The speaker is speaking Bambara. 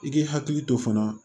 I k'i hakili to fana